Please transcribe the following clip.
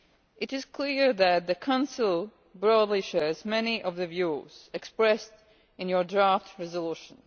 It is clear that the Council broadly shares many of the views expressed in your draft resolution.